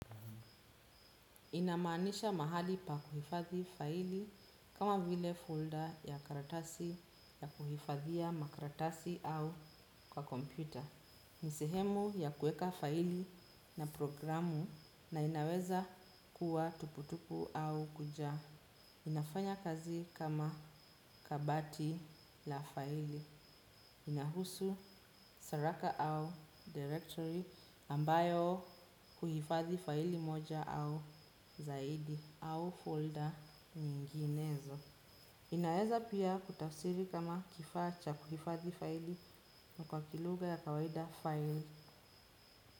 Inamaanisha mahali pa kuhifadhi faili kama vile folder ya karatasi ya kuhifadhia makaratasi au kwa kompyuta. Nisehemu ya kuweka faili na programu na inaweza kuwa tupu tupu au kujaa. Inafanya kazi kama kabati la faili, inahusu saraka au directory ambayo huhifadhi faili moja au zaidi au folder nyinginezo. Inaeza pia kutafsiri kama kifaa cha kuhifadhi faili na kwa kilugha ya kawaida faili.